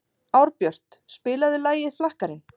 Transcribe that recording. Árbjört, spilaðu lagið „Flakkarinn“.